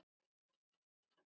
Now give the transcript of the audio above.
Svo kom löng þögn.